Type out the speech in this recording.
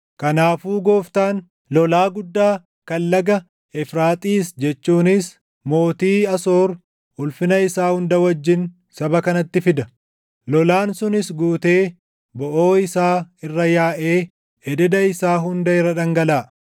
kanaafuu Gooftaan, lolaa guddaa kan laga Efraaxiis jechuunis mootii Asoor ulfina isaa hunda wajjin saba kanatti fida. Lolaan sunis guutee boʼoo isaa irra yaaʼee ededa isaa hunda irra dhangalaʼa.